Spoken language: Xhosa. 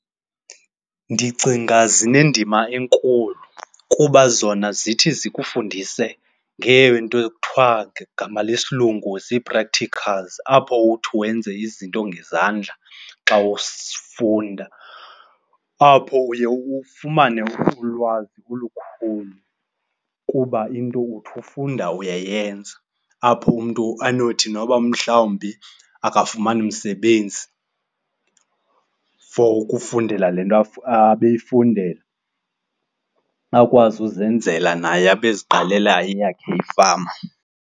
Ndicinga zinendima enkulu kuba zona zithi zikufundise ngeento ekuthiwa gama lesilungu zii-practicals apho uthi wenze izinto ngezandla xa ufunda. Apho uye ufumane ulwazi olukhulu kuba into uthi ufunda uyayenza, apho umntu anothi noba umhlawumbi akafumani umsebenzi for ukufundela le nto abeyifundela, akwazi uzenzela naye abe eziqalela eyakhe ifama.